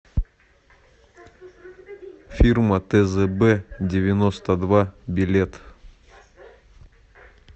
фирма тзб девяносто два билет